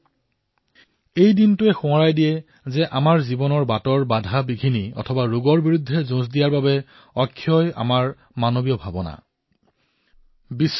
যিমানেই কঠিনতা নাহক যিমানেই বিপদ নাহক যিমানেই ৰোগৰ সন্মুখীন হবলগীয়া নহওক কিয়এইসমূহৰ বিৰুদ্ধে যুঁজিবলৈ মানৱীয় ভাৱনা অক্ষয় বুলি এই দিনটোৱে আমাক সোঁৱৰণ কৰায়